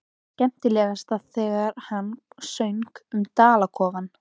Skemmtilegast þegar hann söng um dalakofann.